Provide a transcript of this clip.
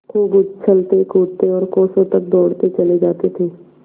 खूब उछलतेकूदते और कोसों तक दौड़ते चले जाते थे